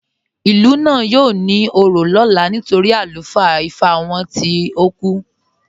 Ilú náà yóò ní ò̩rọ̀ lọlá nítorí alufaa Ìfá wọn tìí o kú.